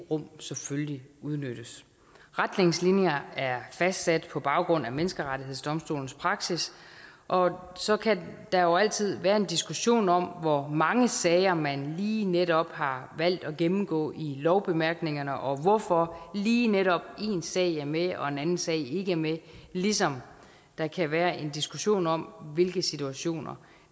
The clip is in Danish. rum selvfølgelig udnyttes retningslinjerne er fastsat på baggrund af menneskerettighedsdomstolens praksis og så kan der jo altid være en diskussion om hvor mange sager man lige netop har valgt at gennemgå i lovbemærkningerne og hvorfor lige netop én sag er med og en anden sag ikke er med ligesom der kan være en diskussion om hvilke situationer